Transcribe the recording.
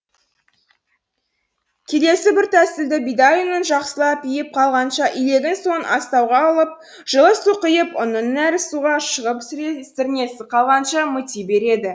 келесі бір тәсілді бидай ұнын жақсылап иіп қанғанша илеген соң астауға алып жылы су құйып ұнның нәрі суға шығып сірнесі қалғанша мыти береді